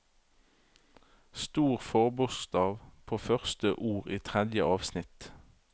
Stor forbokstav på første ord i tredje avsnitt